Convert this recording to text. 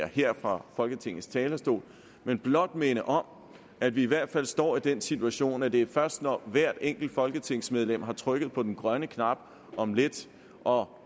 her fra folketingets talerstol men blot minde om at vi i hvert fald står i den situation at det først er når hvert enkelt folketingsmedlem har trykket på den grønne knap om lidt og